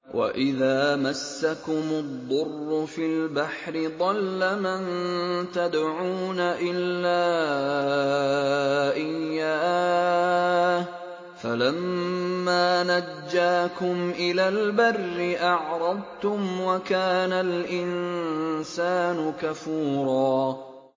وَإِذَا مَسَّكُمُ الضُّرُّ فِي الْبَحْرِ ضَلَّ مَن تَدْعُونَ إِلَّا إِيَّاهُ ۖ فَلَمَّا نَجَّاكُمْ إِلَى الْبَرِّ أَعْرَضْتُمْ ۚ وَكَانَ الْإِنسَانُ كَفُورًا